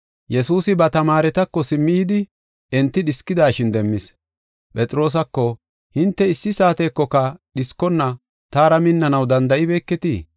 Yesuusi ba tamaaretako simmi yidi enti dhiskidashin demmis. Phexroosako, “Hinte issi saatekoka dhiskonna taara minnanaw danda7ibeeketii?